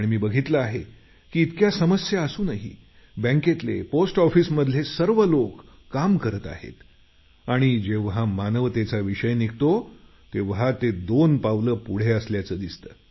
मी बघितलं आहे की इतक्या समस्या असूनही बँकेतले पोस्ट ऑफिसमधले सर्व लोक काम करत आहेत आणि जेव्हा मानवतेचा विषय निघतो तेव्हा ते दोन पावलं पुढे असल्याचं दिसतं